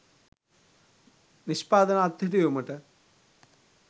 නිෂ්පාදන අත්හිටුවීමට